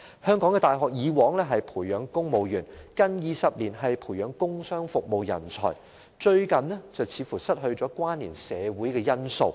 香港的大學以往着重培養公務員，近20年轉為培養工商服務人才，最近卻似乎失去關連社會的因素。